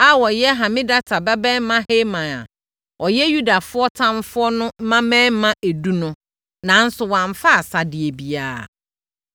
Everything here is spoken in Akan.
a wɔyɛ Hamedata babarima Haman a ɔyɛ Yudafoɔ ɔtamfoɔ no mmammarima edu no. Nanso, wɔamfa asadeɛ biara.